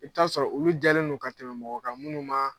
I bi t'a sɔrɔ olu jɛlen bɛ ka tɛmɛ mɔgɔ kan minnu ma